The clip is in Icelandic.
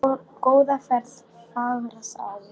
Góða ferð, fagra sál.